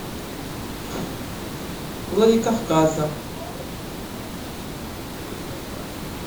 владикавказа